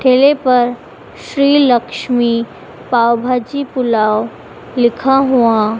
ठेले पर श्री लक्ष्मी पाव भाजी पुलाव लिखा हुआ--